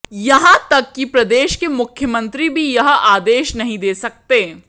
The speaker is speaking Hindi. यहाँ तक कि प्रदेश के मुख्यमंत्री भी यह आदेश नहीं दे सकते